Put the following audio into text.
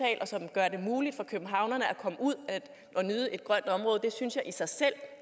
gør det muligt for københavnerne at komme ud og nyde et grønt område jeg synes i sig selv